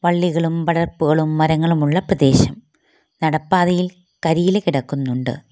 വള്ളികളും പടർപ്പുകളും മരങ്ങളുമുള്ള പ്രദേശം നടപ്പാതയിൽ കരിയില കിടക്കുന്നുണ്ട്.